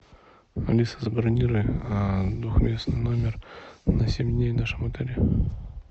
алиса забронируй двухместный номер на семь дней в нашем отеле